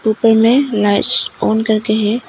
इनमें lights on करके है।